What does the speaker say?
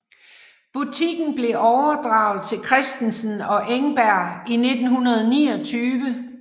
Butikken blev overdraget til Christensen og Engberg i 1929